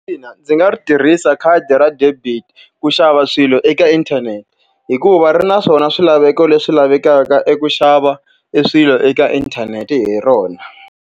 Ina ndzi nga ri tirhisa khadi ra debit ku xava swilo eka inthanete, hikuva ri na swona swilaveko leswi lavekaka i ku xava e swilo eka inthanete hi rona.